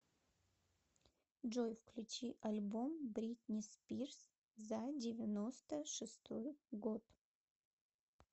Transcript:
джой включи альбом бритни спирс за девяносто шестой год